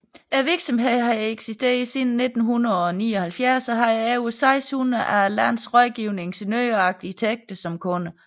Virksomheden havde eksisteret siden 1979 og havde over 600 af landets rådgivende ingeniører og arkitekter som kunder